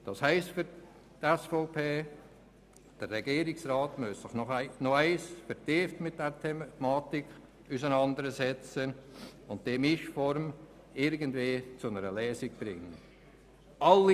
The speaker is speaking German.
Für die SVP heisst dies, dass sich der Regierungsrat noch einmal vertieft mit dieser Thematik auseinandersetzen und die Mischform irgendwie zu einer Lösung bringen muss.